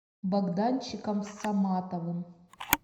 богданчиком саматовым